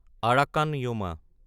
Arakan Yoma